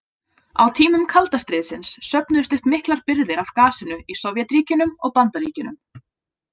Á tímum kalda stríðsins söfnuðust upp miklar birgðir af gasinu í Sovétríkjunum og Bandaríkjunum.